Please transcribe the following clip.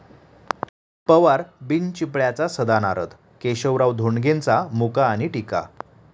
पवार बिनचिपळ्याचा सदा नारद, केशवराव धोंडगेंचा मुका आणि टीका